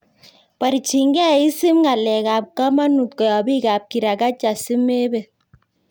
Borchingei isip ngalekab komonut koyob bikab kirakacha simebet.